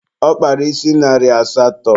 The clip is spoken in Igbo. Ọ kpara isi narị asatọ